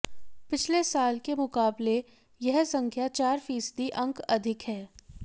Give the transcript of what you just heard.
पिछले साल के मुकाबले यह संख्या चार फीसदी अंक अधिक है